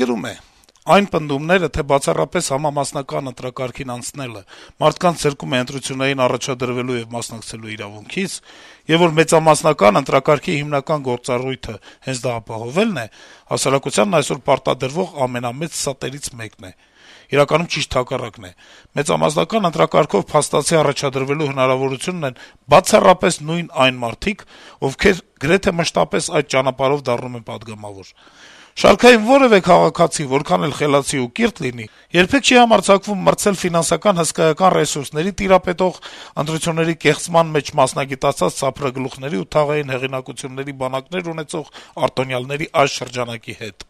գրում է. - «Այն պնդումները, թե բացառապես համամասնական ընտրակարգին անցնելը մարդկանց զրկում է ընտրություններին առաջադրվելու եւ մասնակցելու իրավունքից, եւ որ մեծամասնական ընտրակարգի հիմնական գործառույթը հենց դա ապահովելն է, հասարակությանն այսօր պարտադրվող ամենամեծ ստերից մեկն է: Իրականում ճիշտ հակառակն է: Մեծամասնական ընտրակարգով փաստացի առաջադրվելու հնարավորություն ունեն բացառապես նույն այն մարդիկ, ովքեր գրեթե մշտապես այդ ճանապարհով դառնում են պատգամավոր: Շարքային որեւէ քաղաքացի, որքան էլ խելացի ու կիրթ լինի, երբեք չի համարձակվում մրցել ֆինանսական հսկայական ռեսուրսների տիրապետող, ընտրությունների կեղծման մեջ մասնագիտացած սափրագլուխների ու թաղային հեղինակությունների բանակներ ունեցող արտոնյալների այս շրջանակի հետ»: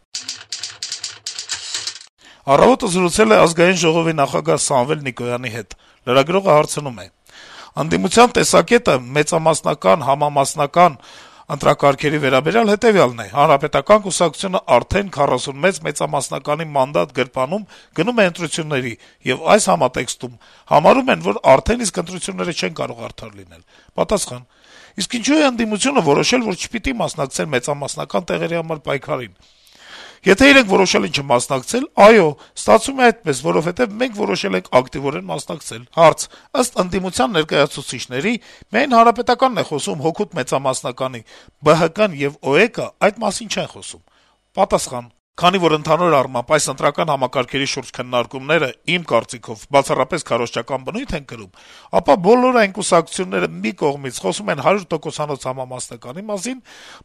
«Առավոտ»-ը զրուցել է Ազգային ժողովի նախագահ Սամվել Նիկոյանի հետ: Լրագրողը հարցնում է. - «Ընդդիմության տեսակետը մեծամասնական, համամասնական ընտրակարգերի վերաբերյալ հետեւյալն է՝ Հանրապետական կուսակցությունը արդեն 41 մեծամասնականի մանդատ գրպանում՝ գնում է ընտրությունների, եւ այս համատեքստում համարում են, որ արդեն իսկ ընտրությունները չեն կարող արդար լինել»: Պատասխան. - «Իսկ ինչո՞ւ է ընդդիմությունը որոշել, որ չպիտի մասնակցեն մեծամասնական տեղերի համար պայքարին: Եթե իրենք որոշել են չմասնակցել, այո, ստացվում է այդպես, որովհետեւ մենք որոշել ենք ակտիվորեն մասնակցել»: Հարց. - «Ըստ ընդդիմության ներկայացուցիչների՝ միայն Հանրապետականն է խոսում հօգուտ մեծամասնականի, ԲՀԿ-ն եւ ՕԵԿ-ն այդ մասին չեն խոսում»: Պատասխան. - «Քանի որ, ընդհանուր առմամբ, այս ընտրական համակարգերի շուրջ քննարկումները, իմ կարծիքով, բացառապես քարոզչական բնույթ են կրում, ապա բոլոր այն կուսակցությունները մի կողմից՝ խոսում են հարյուր տոկոսանոց համամասնականի մասին,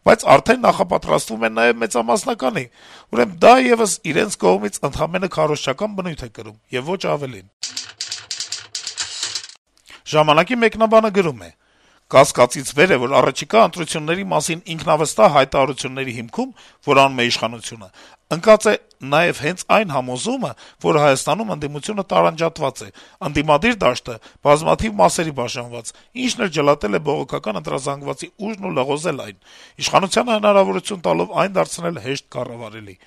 բայց արդեն նախապատրաստվում են նաեւ մեծամասնականի, ուրեմն դա եւս իրենց կողմից ընդամենը քարոզչական բնույթ է կրում եւ ոչ ավելին»: «Ժամանակ»-ի մեկնաբանը գրում է. -«Կասկածից վեր է, որ առաջիկա ընտրությունների մասին ինքնավստահ հայտարարությունների հիմքում, որ անում է իշխանությունը, ընկած է նաեւ հենց այն համոզումը, որ Հայաստանում ընդդիմությունը տարանջատված է, ընդդիմադիր դաշտը` բազմաթիվ մասերի բաժանված, ինչն էլ ջլատել է բողոքական ընտրազանգվածի ուժն ու լղոզել այն` իշխանությանը հնարավորություն տալով այն դարձնել հեշտ կառավարելի: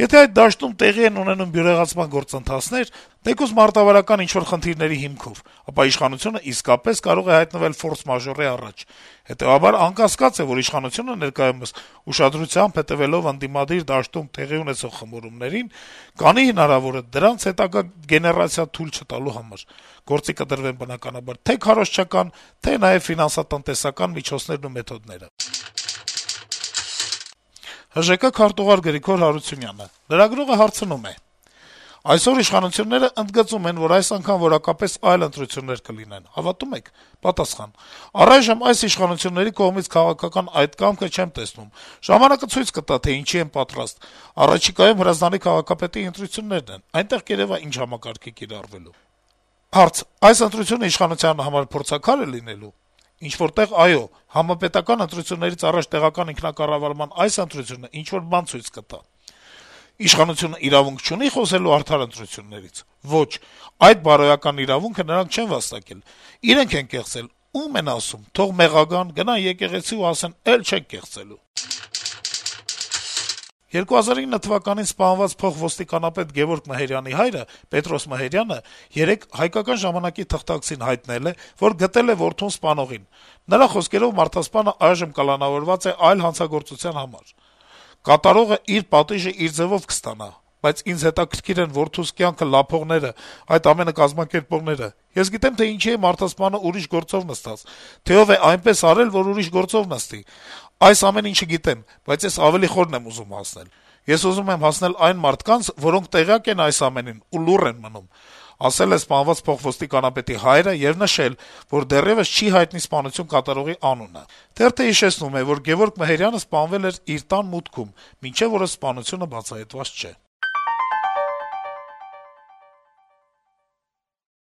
Եթե այդ դաշտում տեղի են ունենում բյուրեղացման գործընթացներ, թեկուզ մարտավարական ինչ-որ խնդիրների հիմքով, ապա իշխանությունն իսկապես կարող է հայտնվել «ֆորս-մաժորի» առաջ: Հետեւաբար անկասկած է, որ իշխանությունը ներկայումս ուշադրությամբ հետեւելով ընդդիմադիր դաշտում տեղի ունեցող խմորումներին` կանի հնարավորը, դրանց հետագա գեներացիա թույլ չտալու համար: Գործի կդրվեն, բնականաբար, թե քարոզչական, թե նաեւ ֆինանսատնտեսական միջոցներն ու մեթոդները»: «Իրատես de facto» թերթը զրուցել է Հայաստանի ժողովրդական կուսակցության քարտուղար Գրիգոր Հարությունյանի հետ: Լրագրողը հարցնում է. - «Այսօր իշխանությունները ընդգծում են, որ այս անգամ որակապես այլ ընտրություններ կլինեն: Հավատո՞ւմ եք»: Պատասխան. - «Առայժմ այս իշխանությունների կողմից քաղաքական այդ կամքը չեմ տեսնում: Ժամանակը ցույց կտա, թե ինչի են պատրաստ: Առաջիկայում Հրազդանի քաղաքապետի ընտրություններն են, որտեղ կերեւա` ինչ համակարգ է կիրառվելու»: Հարց. - «Այս ընտրությունն իշխանության համար փորձաքա՞ր է լինելու»: Պատասխան. - «Ինչ-որ տեղ` այո: Համապետական ընտրություններից առաջ տեղական ինքնակառավարման այդ ընտրությունը ինչ-որ բան ցույց կտա»: Հարց. - «Իշխանությունը իրավունք չունի՞ խոսելու արդար ընտրություններից»: Պատասխան. - «Ոչ, այդ բարոյական իրավունքը նրանք չեն վաստակել: Իրենք են կեղծել, ո՞ւմ են ասում: Թող մեղա գան, գնան եկեղեցի ու ասեն` էլ չենք կեղծելու»: 2009 թվականին սպանված փոխոստիկանապետ Գեւորգ Մհերյանի հայրը` Պետրոս Մհերյանը երեկ «Հայկական ժամանակ»-ի թղթակցին հայտնել է, որ գտել է իր որդուն սպանողին, որը այժմ կալանավորված է այլ հանցագործության համար։ «Կատարողը իր ձեւով իր պատիժը կստանա, բայց ինձ հետաքրքիր են որդուս կյանքը լափողները, այդ ամենը կազմակերպողները։ Ես գիտեմ, թե ինչի է մարդասպանը ուրիշ գործով նստած, թե ով է այնպես արել, որ ուրիշ գործով նստի։ Այս ամեն ինչը գիտեմ, բայց ես ավելի խորն եմ ուզում հասնել։ Ես ուզում եմ հասնել այն մարդկանց, որոնք տեղյակ են այս ամեն ինչից ու լուռ են մնում», - ասել է սպանված փոխոստիկանապետի հայրը եւ նշել, որ դեռեւս չի հայտնի սպանությունը կատարողի անունը։ Թերթը հիշեցնում է, որ Գեւորգ Մհերյանը սպանվել էր իր տան մուտքում: Մինչեւ օրս սպանությունը բացահայտված չէ»: